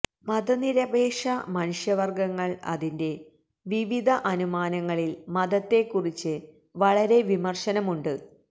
മതനിരപേക്ഷ മനുഷ്യവർഗങ്ങൾ അതിന്റെ വിവിധ അനുമാനങ്ങളിൽ മതത്തെക്കുറിച്ച് വളരെ വിമർശനമുണ്ട്